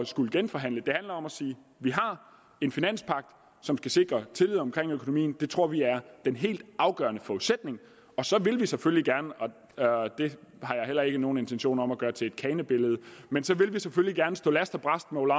skulle genforhandle det handler om at sige at vi har en finanspagt som skal sikre tillid omkring økonomien og det tror vi er den helt afgørende forudsætning så vil vi selvfølgelig gerne og det har jeg heller ikke nogen intentioner om at gøre til et kanebillede stå last og brast med